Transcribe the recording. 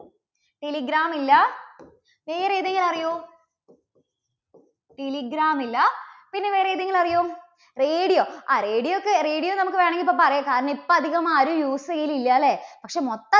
telegram മില്ല, വേറെ ഏതെങ്കിലും അറിയോ? telegram മില്ല, പിന്നെ വേറെ ഏതെങ്കിലും അറിയോ? radio. ആ radio ഒക്കെ radio നമുക്ക് വേണമെങ്കിൽ ഇപ്പോ പറയാം കാരണം ഇപ്പോ അധികമാരും use ചെയ്യൽ ഇല്ല അല്ലേ? പക്ഷെ മൊത്ത~